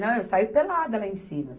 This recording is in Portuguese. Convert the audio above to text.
Não, eu saio pelada lá em cima.